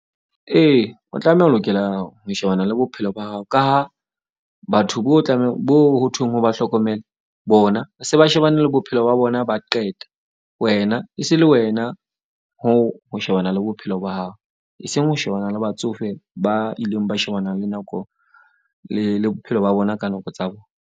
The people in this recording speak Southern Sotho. Ee, o tlameha o lokela ho shebana le bophelo ba hao ka ha batho bo tlameha bo ho thweng o ba hlokomele, bona se ba shebane le bophelo ba bona, ba qeta. Wena e se le wena hoo ho shebana le bophelo ba hao, e seng ho shebana le batsofe ba ileng ba shebana le nako le bophelo ba bona ka nako tsa bona.